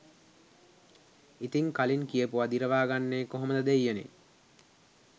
ඉතින් කලින් කියපුව දිරවා ගන්නේ කොහොමද දෙය්යනේ